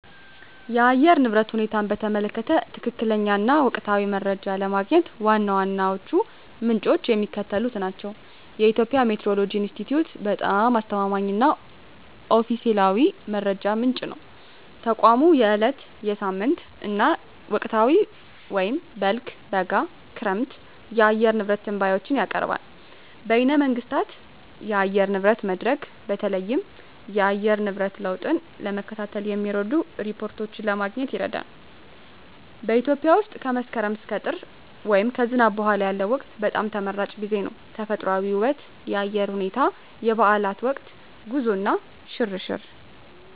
የአየር ንብረት ሁኔታን በተመለከተ ትክክለኛ እና ወቅታዊ መረጃ ለማግኘት ዋና ዋናዎቹ ምንጮች የሚከተሉት ናቸው -የኢትዮጵያ ሜትዎሮሎጂ ኢንስቲትዩት በጣም አስተማማኝ እና ኦፊሴላዊ መረጃ ምንጭ ነው። ተቋሙ የዕለት፣ የሳምንት እና የወቅታዊ (በልግ፣ በጋ፣ ክረምት) የአየር ንብረት ትንበያዎችን ያቀርባል። -በይነ መንግሥታት የአየር ንብረት መድረክ: በተለይም የአየር ንብረት ለውጥን ለመከታተል የሚረዱ ሪፖርቶችን ለማግኘት ይረዳል። -በኢትዮጵያ ውስጥ ከመስከረም እስከ ጥር (ከዝናብ በኋላ ያለው ወቅት) በጣም ተመራጭ ጊዜ ነው። -ተፈጥሮአዊ ውበት -የአየር ሁኔታ -የበዓላት ወቅት -ጉዞ እና ሽርሽር